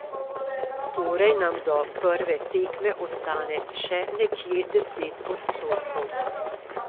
Torej nam do prve tekme ostane še nekje deset odstotkov.